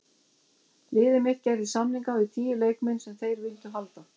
Liðið mitt gerði samninga við tíu leikmenn sem þeir vildu halda.